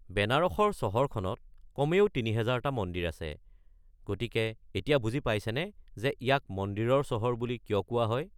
বেনাৰসৰ চহৰখনত কমেও ৩০০০টা মন্দিৰ আছে, গতিকে এতিয়া বুজি পাইছেনে যে ইয়াক ‘মন্দিৰৰ চহৰ’ বুলি কিয় কোৱা হয়।